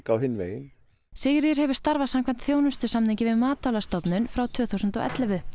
á hinn veginn Sigríður hefur starfað samkvæmt þjónustusamningi við Matvælastofnun frá tvö þúsund og ellefu